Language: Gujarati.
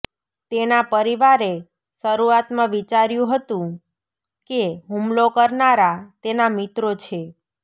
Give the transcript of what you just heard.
તેના પરિવારે શરૂઆતમાં વિચાર્યું હતું કે હુમલો કરનારા તેના મિત્રો છે